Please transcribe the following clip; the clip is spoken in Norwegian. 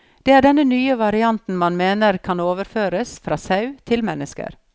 Det er denne nye varianten man mener kan overføres fra sau til mennesker.